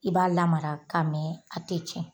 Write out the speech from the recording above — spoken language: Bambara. I b'a lamara k'a mɛn a tɛ tiɲɛ.